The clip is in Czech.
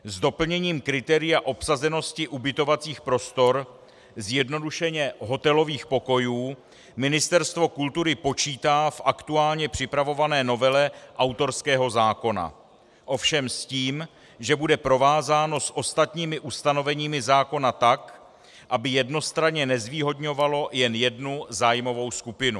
S doplněním kritéria obsazenosti ubytovacích prostor, zjednodušeně hotelových pokojů, Ministerstvo kultury počítá v aktuálně připravované novele autorského zákona, ovšem s tím, že bude provázáno s ostatními ustanoveními zákona tak, aby jednostranně nezvýhodňovalo jen jednu zájmovou skupinu.